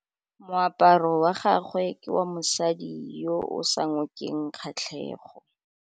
Moaparô wa gagwe ke wa mosadi yo o sa ngôkeng kgatlhegô.